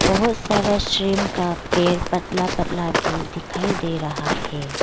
बहुत सारा श्रिंप पेर पतला पतला भी दिखाई दे रहा है।